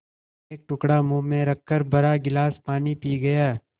एक टुकड़ा मुँह में रखकर भरा गिलास पानी पी गया